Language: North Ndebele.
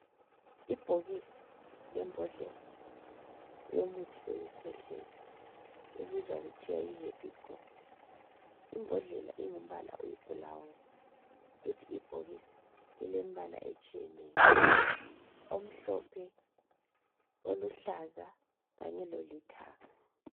Ibhokisi lembodlela yomuthi wokukhwehlela obizwa kuthiwe yi"Herbigor".Imbodlela ingumbala oyibhulawuni kuthi ibhokisi lilembala etshiyeneyo, omhlophe, oluhlaza kanye lolithanga.